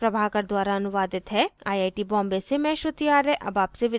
यह स्क्रिप्ट प्रभाकर द्वारा अनुवादित है आई आई टी बॉम्बे से मैं श्रुति आर्य अब आपसे विदा लेती हूँ